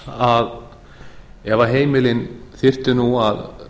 að ef heimilin þyrftu nú að